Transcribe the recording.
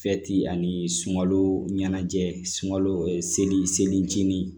ani sunkalo ɲɛnajɛ sunkalo seli seliji